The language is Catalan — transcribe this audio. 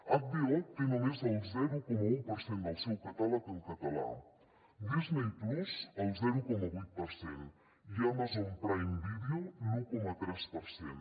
hbo té només el zero coma un per cent del seu catàleg en català disney+ el zero coma vuit per cent i amazon prime video l’un coma tres per cent